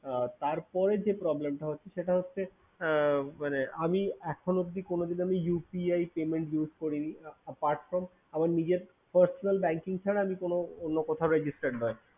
আর তারপরে যে problem টা সেটা হচ্ছে সেটা হচ্ছে আমি এখন পর্যন্ত এখন অবধি UPI payment use করিনি apart from আমার personal banking ছাড়া অন্য কোথাও registered নয়